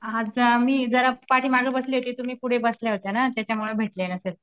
हां आज जरा मी पाठीमागे बसले होते तुम्ही पुढे बसल्या होत्या ना त्याच्यामुळे भेटले नसेल.